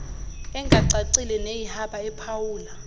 engacacile neyihaba ephawula